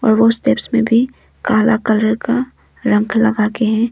मे भी काला कलर का रंग लगा के हैं।